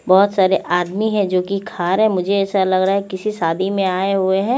बहोत सारे आदमी है जो की खारे मुझे असा लगरा किसी सादी में आये हुए है।